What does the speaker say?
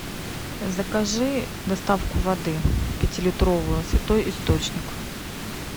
закажи доставку воды пятилитровую святой источник